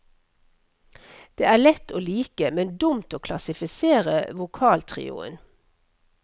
Det er lett å like, men dumt å klassifisere vokaltrioen.